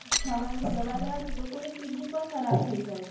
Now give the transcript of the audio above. ખાવાની દવા લેવા થી લોકો ની Kidney પણ ખરાબ થઇ જાય છે